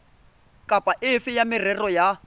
kapa efe ya merero ya